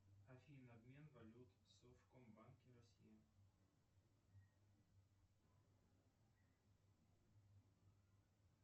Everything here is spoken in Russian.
афина обмен валют в совкомбанке россия